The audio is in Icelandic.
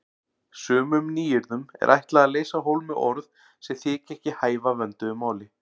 Sumum nýyrðum er ætlað að leysa af hólmi orð sem þykja ekki hæfa vönduðu máli.